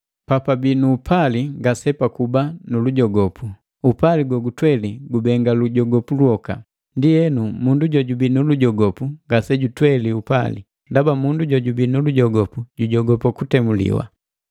Papabii nu upali ngase pakuba nulujogopu; upali gogutweli gubenga lujogopu lwoka. Ndienu mundu jojubii nu lujogopu ngase jutweli upali, ndaba mundu jojubii nu lujogopu jujogopa kutemuliwa.